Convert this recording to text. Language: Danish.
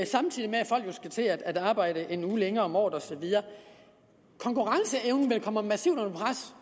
samtidig med at folk jo skal til at arbejde en uge længere om året og så videre konkurrenceevnen kommer massivt under pres